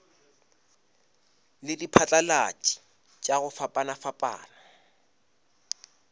le diphatlalatši tša go fapafapana